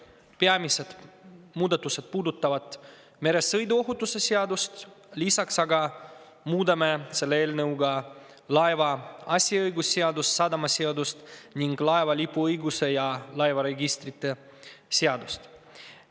Peamised muudatused puudutavad meresõiduohutuse seadust, lisaks aga muudame selle eelnõuga laeva asjaõigusseadust, sadamaseadust ning laeva lipuõiguse ja laevaregistrite seadust.